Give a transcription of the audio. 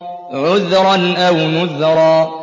عُذْرًا أَوْ نُذْرًا